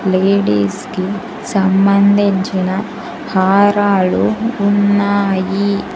Ladies కి సంబంధించిన హారాలు ఉన్నాయి.